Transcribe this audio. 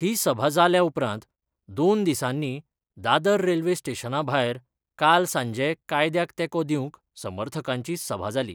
ही सभा जाल्या उपरांत दोन दिसानी दादर रेल्वे स्टेशना भायर काल सांजे कायद्याक तेको दिवंक समर्थकांची सभा जाली.